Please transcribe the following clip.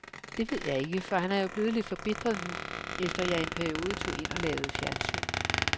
Det ved jeg ikke, for han er jo blevet lidt forbitret nu, efter at jeg i en periode tog ind og lavede fjernsyn.